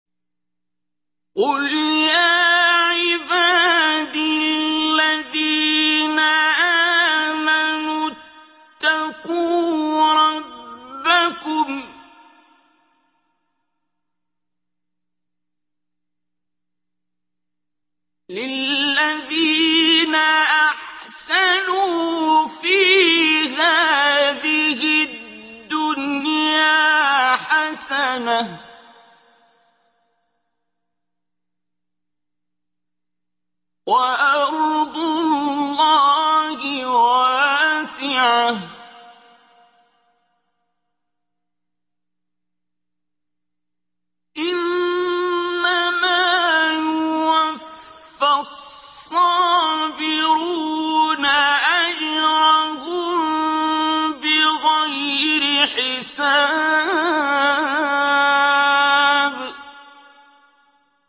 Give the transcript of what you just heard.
قُلْ يَا عِبَادِ الَّذِينَ آمَنُوا اتَّقُوا رَبَّكُمْ ۚ لِلَّذِينَ أَحْسَنُوا فِي هَٰذِهِ الدُّنْيَا حَسَنَةٌ ۗ وَأَرْضُ اللَّهِ وَاسِعَةٌ ۗ إِنَّمَا يُوَفَّى الصَّابِرُونَ أَجْرَهُم بِغَيْرِ حِسَابٍ